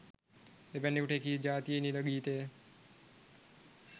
එවැන්කුට එකී ජාතියේ නිල ගීතය